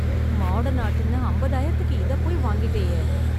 Modern ஆர்ட்னு ஐம்பதாயிரத்துக்கு இதைப் போய் வாங்கிட்டேயே.